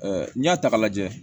n'i y'a ta k'a lajɛ